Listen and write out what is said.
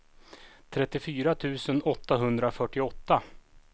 trettiofyra tusen åttahundrafyrtioåtta